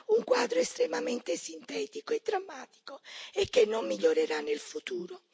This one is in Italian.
Un quadro estremamente sintetico e drammatico e che non migliorerà nel futuro.